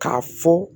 K'a fɔ